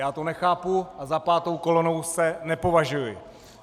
Já to nechápu a za pátou kolonu se nepovažuji.